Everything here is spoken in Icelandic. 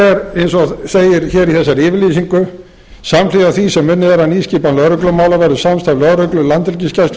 eins og segir í þessari yfirlýsingu samhliða því sem unnið verður að nýskipan lögreglumála verður samstarf lögreglu landhelgisgæslu